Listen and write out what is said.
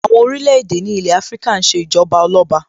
Àwọn orílẹ̀-èdè ní ilé Afíríkà ń ṣe Ìjọba Ọlọ́ba